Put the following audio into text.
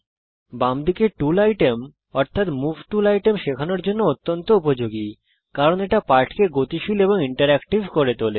বাম দিকের tool item অর্থাত মুভ টুল আইটেম শেখানোর জন্যে অত্যন্ত উপযোগী কারণ এটা পাঠকে গতিশীল এবং ইন্টারেক্টিভ করে তোলে